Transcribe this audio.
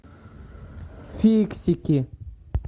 фиксики